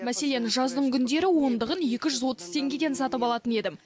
мәселен жаздыңгүндері ондығын екі жүз отыз теңгеден сатып алатын едім